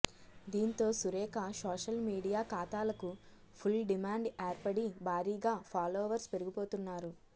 దీంతో Surekha social media ఖాతాలకు full demand ఏర్పడి భారీగా ఫాలోవర్స్ పెరిగిపోతున్నారు